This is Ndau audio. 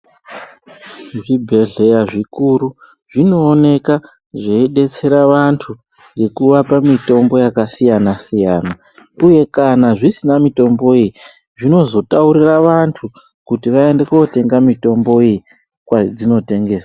Zvi bhedhleya zvikuru zvinooneke zvei detsera vantu ngekuvapa mitombo yaka siyana siyana uye kana zvisina mutombo iyi zvinozo taurira vantu kuti vaende kotenga mitombo iyi kwadzino tengeswa.